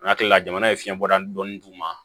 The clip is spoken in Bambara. N'a hakilila jamana ye fiɲɛ bɔda dɔɔnin d'u ma